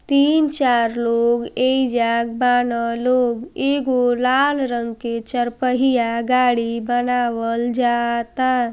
तीन चार लोग एई जाग बाना लोग एगो लाल रंग की चार पहिया गाड़ी बनावल जाता।